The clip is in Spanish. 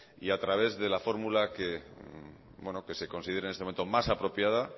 y a través de la fórmula que se considera en este momento más apropiada